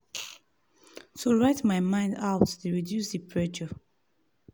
to write my mind out dey reduce the pressure.